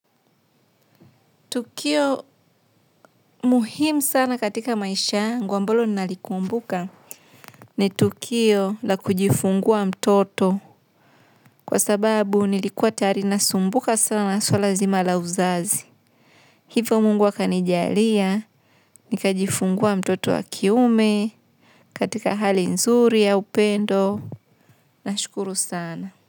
Tukio muhimu sana katika maisha yangu ambalo ninalikumbuka ni tukio la kujifungua mtoto. Kwa sababu nilikuwa tayari nasumbuka sana na swala zima la uzazi. Hivyo Mungu akanijalia, nikajifungua mtoto wa kiume katika hali nzuri ya upendo nashukuru sana.